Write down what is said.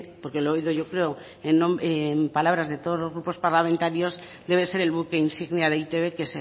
porque lo he oído yo creo en palabras de todos los grupos parlamentarios debe ser el buque insignia de e i te be que